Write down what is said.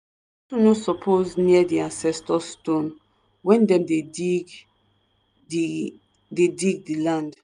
suppose near di ancestor stone when dem dey dig di dey dig di land.